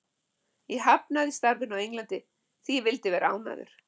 Ég hafnaði starfinu á Englandi því ég vildi vera ánægður.